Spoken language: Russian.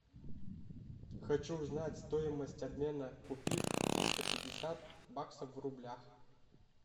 хочу узнать стоимость обмена купив триста пятьдесят баксов в рублях